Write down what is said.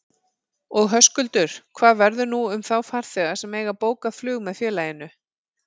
Og Höskuldur, hvað verður nú um þá farþega sem eiga bókað flug með félaginu?